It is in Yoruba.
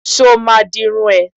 Sọ ma di irun ẹ?